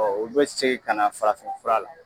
u bɛ segin ka na farafin fura la.